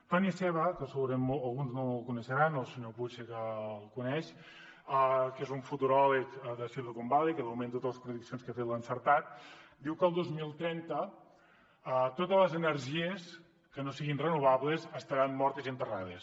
tony seba que segurament alguns no el deuen conèixer el senyor puig sí que el coneix que és un futuròleg de silicon valley i de moment totes les prediccions que ha fet les ha encertat diu que el dos mil trenta totes les energies que no siguin renovables estaran mortes i enterrades